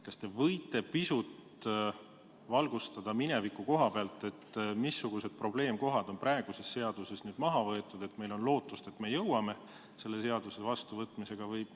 Kas te võite pisut valgustada, missugused probleemid on praeguses seaduses maha võetud ja nüüd on lootust, et me jõuame selle seaduse vastuvõtmiseni?